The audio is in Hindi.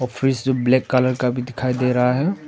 फ्रिज जो ब्लैक कलर का भी दिखाई दे रहा है।